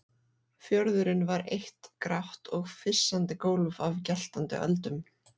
Fjörðurinn var eitt grátt og fyssandi gólf af geltandi öldum.